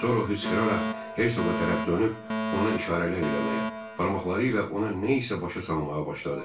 Sonra hısqıraraq Hertsog tərəf dönüb ona işarələr eləməyə, barmaqları ilə ona nə isə başa salmağa başladı.